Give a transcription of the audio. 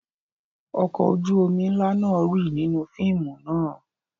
Ọkọ̀ ojú-omi ńlá náà rì nínú fíìmù náà.